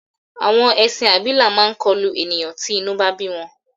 Àwọn ẹṣin abilà máa kọlù ènìyàn tí inú bá bí wọn.